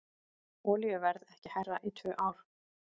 Olíuverð ekki hærra í tvö ár